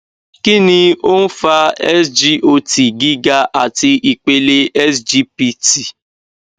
kí ni ó ń fa cs] sgot giga àti ipele sgpt